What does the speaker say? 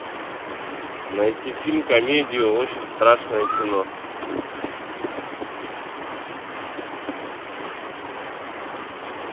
найти фильм комедию очень страшное кино